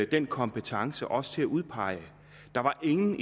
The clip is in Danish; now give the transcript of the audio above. den kompetence til også at udpege der var ingen